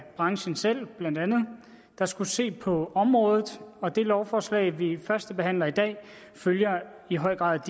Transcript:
branchen selv der skulle se på området og det lovforslag vi førstebehandler i dag følger i høj grad